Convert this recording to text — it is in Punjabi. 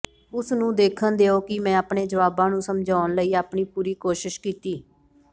ਉਸ ਨੂੰ ਦੇਖਣ ਦਿਓ ਕਿ ਮੈਂ ਆਪਣੇ ਜਵਾਬਾਂ ਨੂੰ ਸਮਝਾਉਣ ਲਈ ਆਪਣੀ ਪੂਰੀ ਕੋਸ਼ਿਸ਼ ਕੀਤੀ